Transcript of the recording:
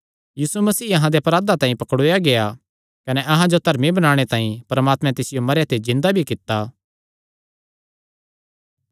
यीशु मसीह अहां दे अपराधां तांई पकड़ुआया गेआ कने अहां जो धर्मी बणाणे तांई परमात्मे तिसियो मरेयां ते जिन्दा भी कित्ता